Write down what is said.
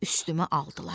üstümə aldılar.